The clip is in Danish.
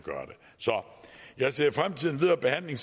jeg ser selvfølgelig frem til den videre behandling